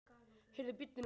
Heyrðu, bíddu nú.